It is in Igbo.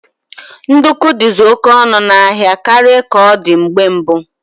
Ndukwu dizi oke ọnụ n'ahia karịa ka ọ dị mgbe mbụ